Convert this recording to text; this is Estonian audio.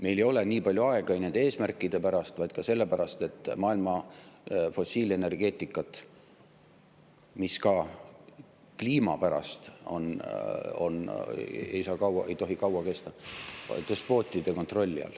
Meil ei ole aega nende eesmärkide pärast, vaid ka sellepärast, et maailma fossiilenergeetika, mis ka kliima pärast ei tohi kaua kesta, on despootide kontrolli all.